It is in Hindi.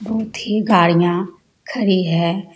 बहुत ही गाड़िया खड़ी है।